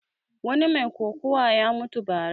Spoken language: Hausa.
Wani mai kokuwa ya mutu ba ra